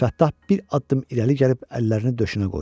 Əbülfəttah bir addım irəli gəlib əllərini döşünə qoydu.